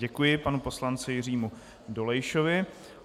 Děkuji panu poslanci Jiřímu Dolejšovi.